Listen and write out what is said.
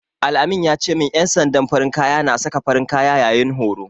Al-amin ya ce min ƴan sandan farin kaya na saka farin kaya yayin horo.